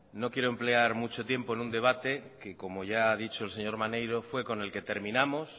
no quiero emplear mucho tiempo en un debate que como ya ha dicho el señor maneiro fue con el que terminamos